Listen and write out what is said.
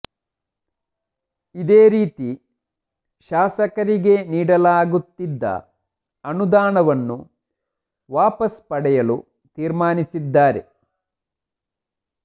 ಇದೇ ರೀತಿ ಶಾಸಕರಿಗೆ ನೀಡಲಾಗತ್ತಿದ್ದ ಅನುದಾನವನ್ನು ವಾಪಸ್ ಪಡೆಯಲು ತೀರ್ಮಾನಿಸಿದ್ದಾರೆ